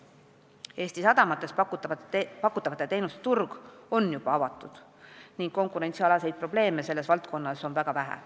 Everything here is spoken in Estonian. Eesti sadamates pakutavate teenuste turg on juba avatud ning konkurentsialaseid probleeme on selles valdkonnas väga vähe.